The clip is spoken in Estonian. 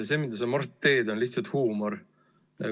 See, mida sa, Mart, teed, on lihtsalt huumor.